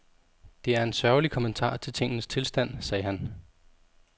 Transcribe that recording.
Det er en sørgelig kommentar til tingenes tilstand, sagde han.